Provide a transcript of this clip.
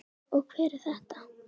Og hver er þetta?